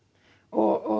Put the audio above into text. og